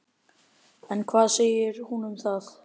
En hvað segir hún um það?